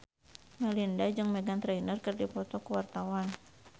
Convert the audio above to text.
Melinda jeung Meghan Trainor keur dipoto ku wartawan